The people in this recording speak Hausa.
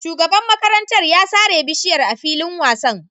Shugaban makarantar ya sare bishiyar a filin wasan